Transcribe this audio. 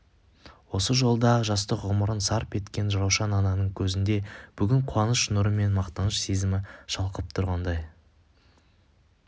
осы жолда жастық ғұмырын сарп еткен раушан ананың көзінде бүгін қуаныш нұры мен мақтаныш сезімі шалқып тұрғандай